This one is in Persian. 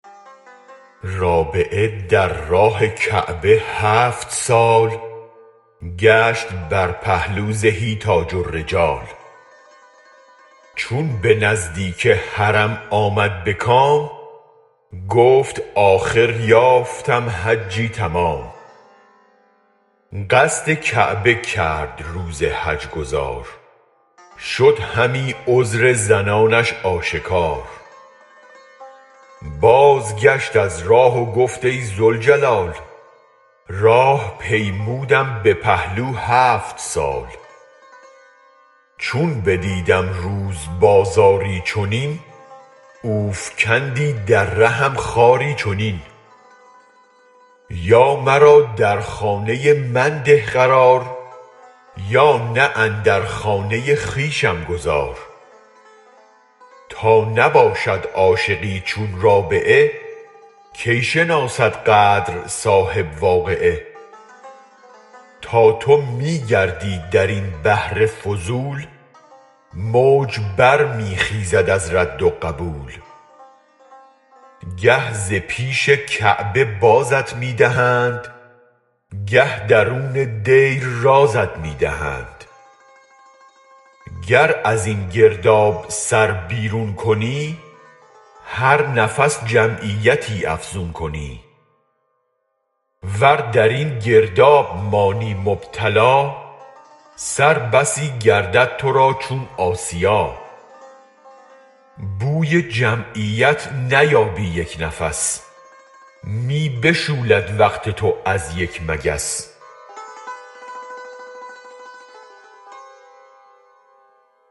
رابعه در راه کعبه هفت سال گشت بر پهلو زهی تاج الرجال چون به نزدیک حرم آمد به کام گفت آخر یافتم حجی تمام قصد کعبه کرد روز حج گزار شد همی عذر زنانش آشکار بازگشت از راه و گفت ای ذوالجلال راه پیمودم به پهلو هفت سال چون بدیدم روز بازاری چنین اوفکندی در رهم خاری چنین یا مرا در خانه من ده قرار یا نه اندر خانه خویشم گذار تا نباشد عاشقی چون رابعه کی شناسد قدر صاحب واقعه تا تو می گردی درین بحر فضول موج برمی خیزد از رد و قبول گه ز پیش کعبه بازت می دهند گه درون دیر رازت می دهند گر ازین گرداب سر بیرون کنی هر نفس جمعیتی افزون کنی ور درین گرداب مانی مبتلا سر بسی گردد ترا چون آسیا بوی جمعیت نیابی یک نفس می بشولد وقت تو از یک مگس